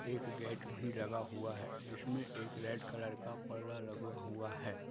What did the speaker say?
एक गेट भी लगा हुआ है जिसमे एक रेड कलर का पर्दा लगा हुआ है।